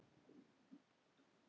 Það ógnar mér.